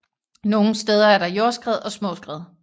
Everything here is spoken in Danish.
Nogle steder er der jordskred og små skred